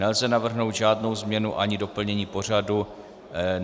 Nelze navrhnout žádnou změnu ani doplnění pořadu.